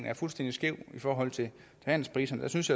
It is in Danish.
er fuldstændig skæv i forhold til handelspriserne synes